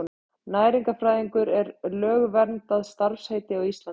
Næringarfræðingur er lögverndað starfsheiti á Íslandi.